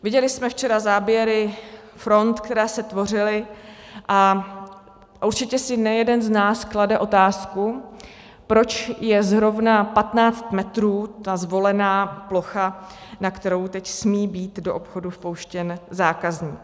Viděli jsme včera záběry front, které se tvořily, a určitě si nejeden z nás klade otázku, proč je zrovna 15 metrů ta zvolená plocha, na kterou teď smí být do obchodu vpouštěn zákazník.